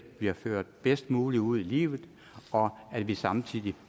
bliver ført bedst muligt ud i livet og at vi samtidig